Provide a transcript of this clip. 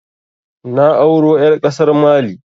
Na auro ƴar ƙasar Mali